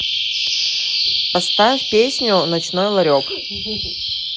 поставь песню ночной ларек